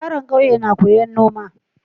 Yaron ƙauye na koyan noma